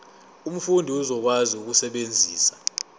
umfundi uzokwazi ukusebenzisa